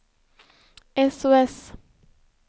sos